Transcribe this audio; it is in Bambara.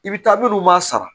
I bi taabolo ɲuman sara